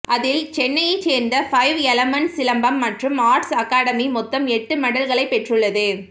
அதில் சென்னையை சேர்ந்த ஃபைவ் எலமண்ட்ஸ் சிலம்பம் மற்றும் ஆர்ட்ஸ் அகாடமி மொத்தம் எட்டு மெடல்களை பெற்றுள்ளது